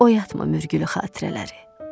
Oyatma mürgülü xatirələri.